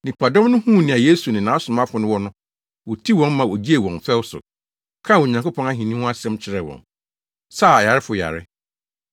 Nnipadɔm no huu nea Yesu ne nʼasomafo no wɔ no, wotiw wɔn ma ogyee wɔn fɛw so, kaa Onyankopɔn ahenni ho asɛm kyerɛɛ wɔn, saa ayarefo yare.